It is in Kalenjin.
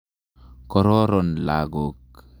Kororon lagok.